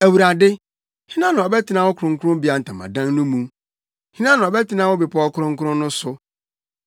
Awurade, hena na ɔbɛtena wo kronkronbea ntamadan no mu? Hena na ɔbɛtena wo bepɔw kronkron no so?